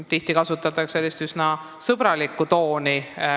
Tihti kasutatakse sotsiaalmeedias üsna sõbralikku tooni.